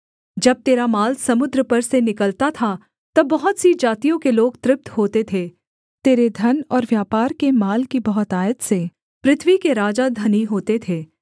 जब तेरा माल समुद्र पर से निकलता था तब बहुत सी जातियों के लोग तृप्त होते थे तेरे धन और व्यापार के माल की बहुतायत से पृथ्वी के राजा धनी होते थे